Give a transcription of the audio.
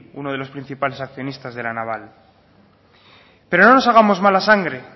uno de los principales accionistas de la naval pero no nos hagamos mala sangre